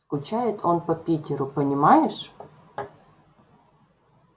скучает он по питеру понимаешь